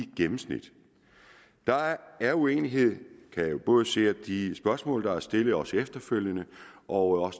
gennemsnit der er uenighed kan jeg både se af de spørgsmål der er stillet også efterfølgende og